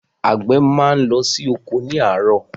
Àwọn àgbẹ máa n lọ sí oko ni àárọ̀.